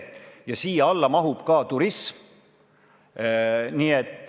Ja siia alla mahub ka turism.